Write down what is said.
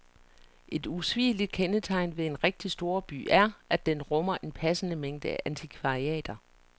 Et usvigeligt kendetegn ved en rigtig storby er, at den rummer en passende mængde antikvariater.